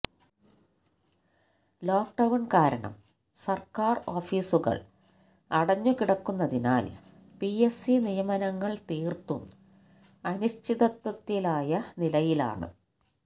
lock down കാരണം സർക്കാർ ഓഫീസുകൾ അടഞ്ഞു കിടക്കുന്നതിനാൽ പിഎസ് സി നിയമനങ്ങൾ തീർത്തും അനിശ്ചിതത്വത്തിലായ നിലയിലാണ്